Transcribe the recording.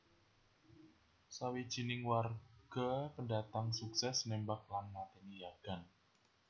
Sawijining warga pendatang sukses nembak lan mateni yagan